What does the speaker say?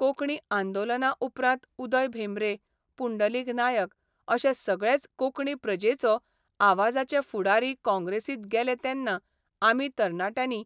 कोंकणी आंदोलना उपरांत उदय भेंब्रे, पुंडलीक नायक अशे सगळेच कोंकणी प्रजेचो आवाजाचे फुडारी काँग्रेसींत गेले तेन्ना आमी तरणाट्यांनी